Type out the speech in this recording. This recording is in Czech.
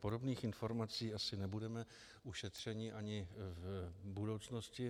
Podobných informací asi nebudeme ušetřeni ani v budoucnosti.